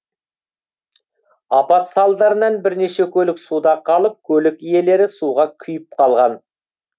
апат салдарынан бірнеше көлік суда қалып көлік иелері суға күйіп қалған